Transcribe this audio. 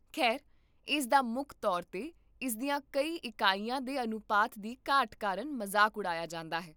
ਖੈਰ, ਇਸ ਦਾ ਮੁੱਖ ਤੌਰ 'ਤੇ ਇਸ ਦੀਆਂ ਕਈ ਇਕਾਈਆਂ ਦੇ ਅਨੁਪਾਤ ਦੀ ਘਾਟ ਕਾਰਨ ਮਜ਼ਾਕ ਉਡਾਇਆ ਜਾਂਦਾ ਹੈ